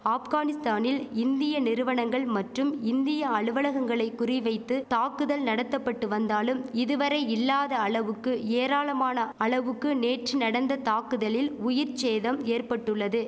ஆப்கானிஸ்தானில் இந்திய நிறுவனங்கள் மற்றும் இந்திய அலுவலகங்களை குறி வைத்து தாக்குதல் நடத்தபட்டு வந்தாலும் இதுவரை இல்லாத அளவுக்கு ஏராளமான அளவுக்கு நேற்று நடந்த தாக்குதலில் உயிர் சேதம் ஏற்பட்டுள்ளது